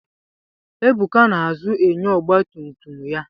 Ebuka na-azụ enyo ọgbatumtum ya.